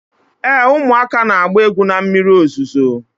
Ee, ụmụaka na-agba egwu na mmiri ozuzo.